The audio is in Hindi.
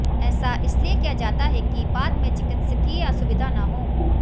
ऐसा इसलिए किया जाता है कि बाद में चिकित्सकीय असुविधा न हो